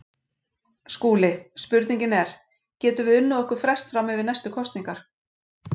SKÚLI: Spurningin er: Getum við unnið okkur frest fram yfir næstu kosningar.